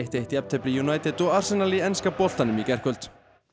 eitt jafntefli United og Arsenal í enska boltanum í gærkvöld